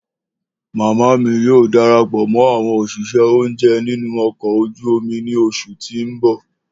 Mama mi yoo darapọ mọ awọn oṣiṣẹ ounjẹ ninu ọkọ̀ ojú omi ni oṣu ti n bọ.